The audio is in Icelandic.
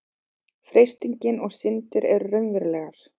freistingin og syndin eru raunverulegar